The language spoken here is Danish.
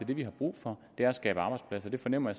det vi har brug for er at skabe arbejdspladser jeg fornemmer